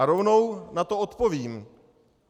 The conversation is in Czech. A rovnou na to odpovím.